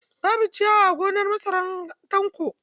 Babu ciyawa a gonar masarar Tanko.